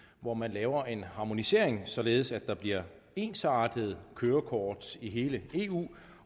hvor man laver en harmonisering således at der bliver ensartede kørekort i hele eu